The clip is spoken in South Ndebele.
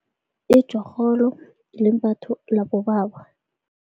Itjhorholo limbatho labobaba.